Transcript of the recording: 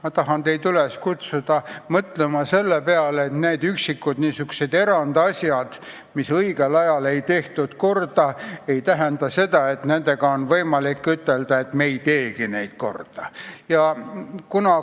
Ma tahan teid üles kutsuda mõtlema selle peale, et kui tegu on niisuguste üksikute eranditega, mida õigel ajal ei tehtud korda, siis ei tohiks nende kohta ütelda, et me ei teegi neid korda.